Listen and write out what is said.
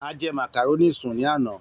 A jẹ màkàrónì sùn ní àná.